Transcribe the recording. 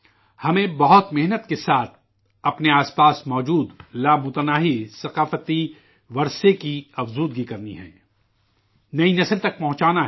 ہمیں بہت محنت کے ساتھ اپنے آس پاس موجود لامحدود ثقافتی ورثے کو فروغ دینا ہے ، نئی نسل تک پہنچانا ہے